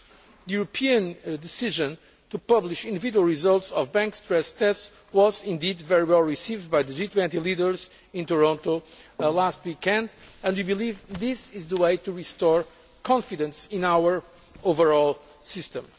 rules. The European decision to publish individual results of bank stress tests was indeed very well received by the G20 leaders in Toronto last weekend and we believe this is the way to restore confidence in our overall